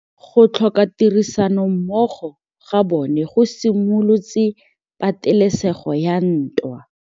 Go tlhoka tirsanommogo ga bone go simolotse patêlêsêgô ya ntwa.